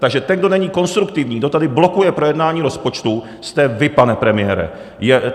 Takže ten, kdo není konstruktivní, kdo tady blokuje projednání rozpočtu, jste vy, pane premiére.